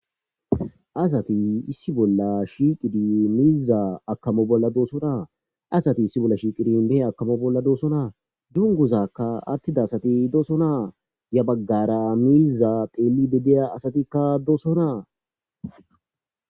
asati issi bolla shiiqidi miiza akamo bolla doosona asati issi bolla shiiqidi mehe akamo bolla doosona junguzakka attida asati doosona ya baggara miiza qeeli bedeya asatikka doosonaa